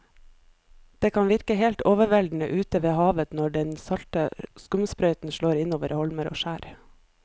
Det kan virke helt overveldende ute ved havet når den salte skumsprøyten slår innover holmer og skjær.